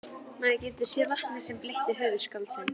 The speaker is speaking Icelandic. Maður getur séð vatnið sem bleytti höfuð skáldsins.